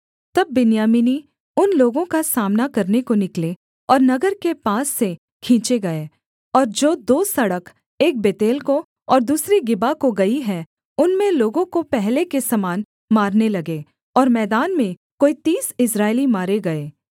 तब बिन्यामीनी उन लोगों का सामना करने को निकले और नगर के पास से खींचे गए और जो दो सड़क एक बेतेल को और दूसरी गिबा को गई है उनमें लोगों को पहले के समान मारने लगे और मैदान में कोई तीस इस्राएली मारे गए